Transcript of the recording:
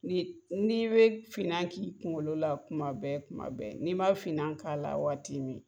Ni ni bɛ finna k'i kunkolo la kuma bɛɛ kuma bɛɛ n'i ma finna k'a la waati min